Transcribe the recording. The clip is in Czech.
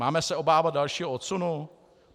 Máme se obávat dalšího odsunu?